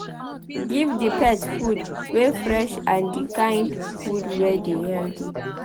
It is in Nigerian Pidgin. Give di pet food wey fresh and di kind food wey dey healthy